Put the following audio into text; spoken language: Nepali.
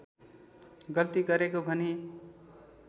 गल्ती गरेको भनी